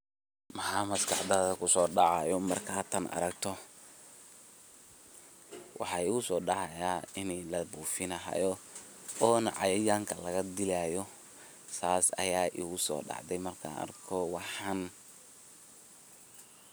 Maxaa maskaxdathaa kusodacayo marka taan aragto, waxaa igusodacaayaa ini labufiini hayo, onaa cayayanka lagadiyahayo, sas ayaa igusodacdee markaan arko waxaan.